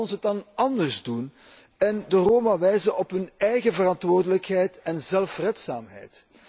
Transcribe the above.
Laat ons het dan anders doen en de Roma wijzen op hun eigen verantwoordelijkheid en zelfredzaamheid.